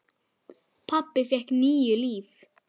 Pabbi fékk níu líf.